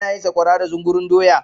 ana yin sakwara da zungurun doya